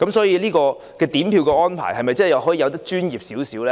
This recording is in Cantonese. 因此，點票安排能否做得更專業一些？